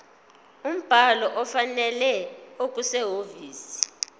umbhalo ofanele okusehhovisi